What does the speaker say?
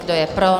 Kdo je pro?